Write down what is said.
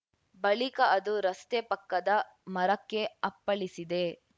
ಬಳಿಕ ಅದು ರಸ್ತೆ ಪಕ್ಕದ ಮರಕ್ಕೆ ಅಪ್ಪಳಿಸಿದೆ